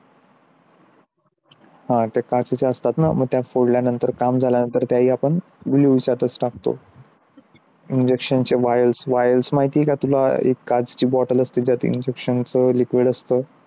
हा त्या काचेच्या असतात ना त्याला फोडल्यानंतर त्याचे ते आपण विचारतात टाकतो. injection while माहिती आहेत का तुला एक काचाची bottle असते त्यात injection liquid असतं